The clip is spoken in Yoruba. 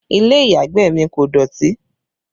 Ilé ìyàgbẹ̀ mi kò dọ̀tí